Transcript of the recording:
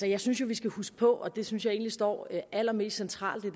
jeg synes jo vi skal huske på og det synes jeg egentlig står allermest centralt i